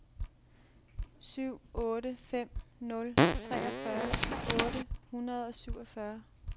syv otte fem nul treogfyrre otte hundrede og syvogfyrre